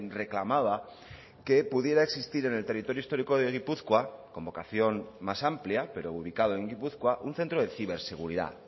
reclamaba que pudiera existir en el territorio histórico de gipuzkoa con vocación más amplia pero ubicado en gipuzkoa un centro de ciberseguridad